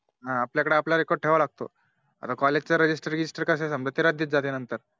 हा आपल्या कडे आपलं Record ठेवावं लागत आता College register गीजिस्टार कस समझ राज्यात जात नंतर